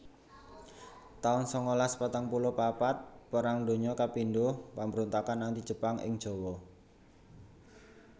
taun sangalas patang puluh papat Perang Donya kapindho Pambrontakan Anti Jepang ing Jawa